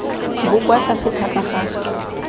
bo kwa tlase thata ga